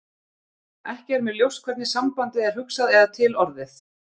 ekki er mér ljóst hvernig sambandið er hugsað eða til orðið